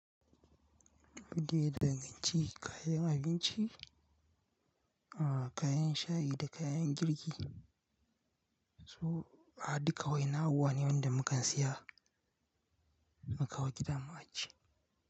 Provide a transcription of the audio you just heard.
Rage da ganci, kayan abinci, kayan shayi da kayan girki su duka wa'yannan abubuwane wanda mukan siya mukan kawo gida mu ajiye.